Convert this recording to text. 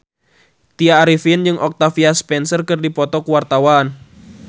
Tya Arifin jeung Octavia Spencer keur dipoto ku wartawan